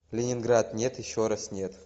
ленинград нет еще раз нет